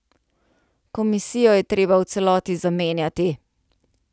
Komisijo je treba v celoti zamenjati.